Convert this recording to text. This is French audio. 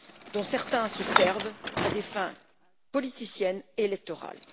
dont certains se servent à des fins politiciennes et électorales.